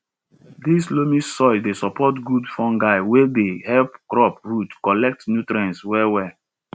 dis loamy soil dey support good fungi wey dey help crop roots collect nutrients well well